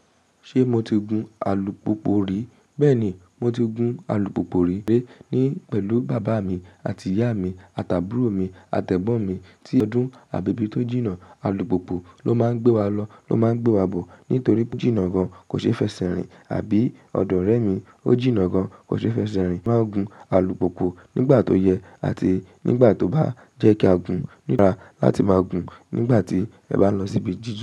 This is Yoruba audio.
Ṣé mo ti gun alùpùpù rí? Bẹ́ẹ̀ ni, mo ti gun alùpùpù rí ní pẹ̀lú bàbá mi àti ìyá mi àtàbùtiró mi à ẹ̀gbọ́n mi tí ọdún àbi ibi tó jìnnà alùpùpù ló máa ń gbé wa lọ ló máa ń gbé wa bọ̀ nítorí pe o jínnà gan kò ṣe fẹsẹ̀ rìn àbí ọ̀dọ̀ ọ̀rẹ́ mi ó jìnnà gan kò ṣe fẹsẹ̀ rìn. Máa gun alùpùpù nígbà tó yẹ àti nígbà tó bá jẹ́ kí a gun nípa láti máa gun nígbà tí ẹ bá lọ síbi jìjin.